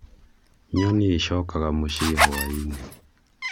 nyoni icokaga mucĩĩ hwainĩ